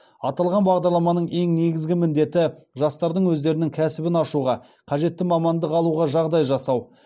аталған бағдарламаның ең негізгі міндеті жастардың өздерінің кәсібін ашуға қажетті мамандық алуға жағдай жасау